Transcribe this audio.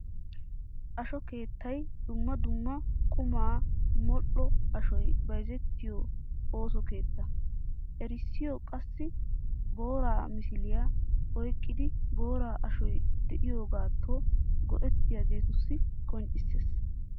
Asho keettay dumma dumma qommo modhdho ashoy bayzzetiyo ooso keetta. Erissoy qassi boora misiliya oyqqiddi boora ashoy de'iyogatto go'ettiyagettussi qoncciseesi.